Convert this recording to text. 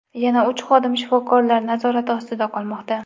Yana uch xodim shifokorlar nazorati ostida qolmoqda.